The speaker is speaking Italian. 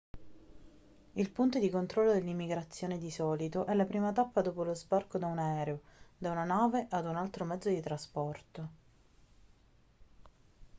il punto di controllo dell'immigrazione di solito è la prima tappa dopo lo sbarco da un aereo da una nave o da un altro mezzo di trasporto